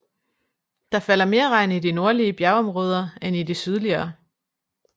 Der falder mere regn i de nordlige bjergområder end i de sydligere